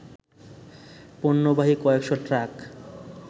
পণ্যবাহী কয়েকশ ট্রাক